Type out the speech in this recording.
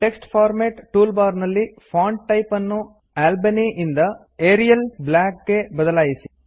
text format toolbar ನಲ್ಲಿ font type ನ್ನು Albany ಯಿಂದ ಏರಿಯಲ್ ಬ್ಲ್ಯಾಕ್ ಗೆ ಬದಲಾಯಿಸಿ